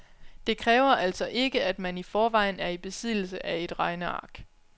Det kræver altså ikke, at man i forvejen er i besiddelse af et regneark.